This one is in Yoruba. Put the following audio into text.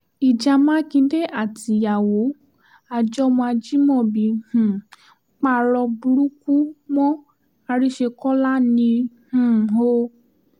ìjà mákindé àtìyàwó àjọmọ̀ ajímọ́bí um parọ́ burúkú mọ́ àrísékọ́lá ni um o